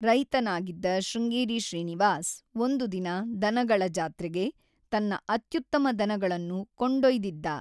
ರೈತನಾಗಿದ್ದ ಶೃಂಗೇರಿ ಶ್ರೀನಿವಾಸ್, ಒಂದು ದಿನ ದನಗಳ ಜಾತ್ರೆಗೆ ತನ್ನ ಅತ್ಯುತ್ತಮ ದನಗಳನ್ನು ಕೊಂಡೊಯ್ದಿದ್ದ.